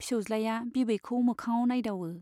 फिसौज्लाया बिबैखौ मोखाङाव नाइदावो।